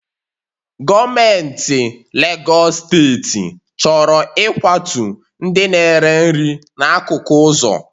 Gọọmentị Legọs steeti chọrọ ịkwatu ndị na-ere nri n'akụkụ ụzọ